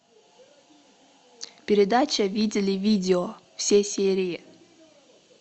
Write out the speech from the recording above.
передача видели видео все серии